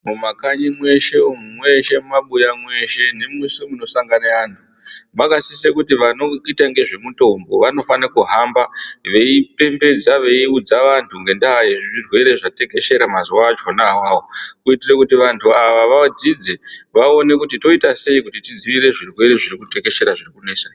Mumakanyi mweshe umu, mweshe mumabuya mweshe nemweshe munosangana vantu, makasise kuti vanoite nezvemutombo vanofanokuhamba veipembedza veiudza vantu nendaayezvirwere zvatekeshera mazuwawachona awawo. Kuitire kuti vantu ava vadzidze vaone kuti toita sei kuti tidzivirire zvirwere zviri kutekeshera zviri kunesa.